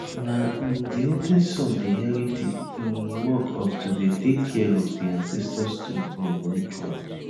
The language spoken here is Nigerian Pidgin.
na um di oldest son dey inherit di um work of to dey take care of di ancestor stone um ritual